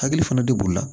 Hakili fana de b'o la